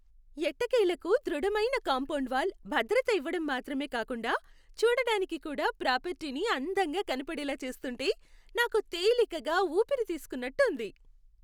ఎట్టకేలకు ధృడమైన compound wall భద్రత ఇవ్వటం మాత్రమే కాకుండా, చూడడానికి కూడా ప్రాపర్టీని అందంగా కనపడేలా చేస్తుంటే నాకు తేలికగా ఊపిరి తీస్కున్నట్టు ఉంది.